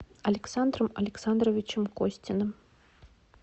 александром александровичем костиным